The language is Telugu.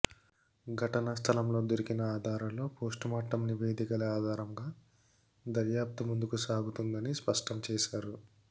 ఘటనా స్థలంలో దొరికిన ఆధారాలు పోస్టుమార్టం నివేదికల ఆధారంగా దర్యాప్తు ముందుకు సాగుతుందని స్పష్టం చేశారు